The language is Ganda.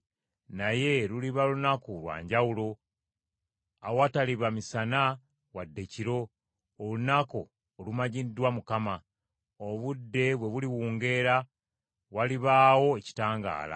Naye luliba lunaku lwa njawulo, awataliba misana wadde kiro: olunaku olumanyiddwa Mukama . Obudde bwe buliwungeera walibaawo ekitangaala.